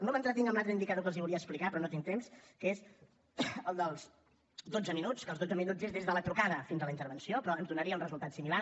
no m’entretinc en l’altre indicador que els volia explicar però no tinc temps que és el dels dotze minuts que els dotze minuts és des de la trucada fins a la intervenció però ens donaria un resultat similar